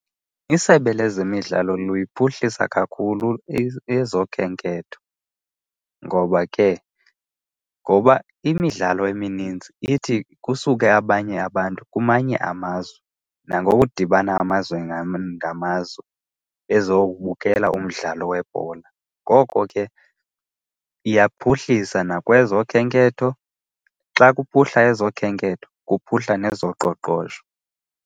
Isebe lezemidlalo luyiphuhlisa kakhulu ezokhenketho, ngoba ke ngoba imidlalo emininzi ithi kusuke abanye abantu kumanye amazwe nangokudibana amazwe ngamazwe bezobukela umdlalo webhola. Ngoko ke iyaphuhlisa nakwezokhenketho. Xa kuphuhla ezokhenketho kuphuhla nezoqoqosho.